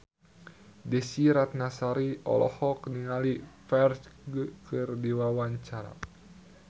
Desy Ratnasari olohok ningali Ferdge keur diwawancara